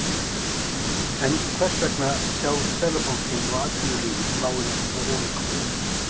En hvers vegna sjá Seðlabankinn og atvinnulífið málið svo ólíkum augum?